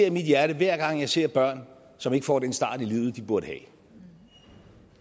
i mit hjerte hver gang jeg ser børn som ikke får den start i livet de burde have